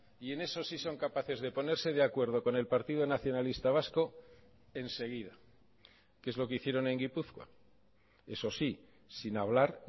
y en eso sí son capaces de ponerse de acuerdo con el partido nacionalista vasco enseguida que es lo que hicieron en gipuzkoa eso sí sin hablar